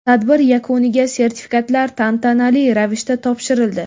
Tadbir yakuniga sertifikatlar tantanali ravishda topshirildi.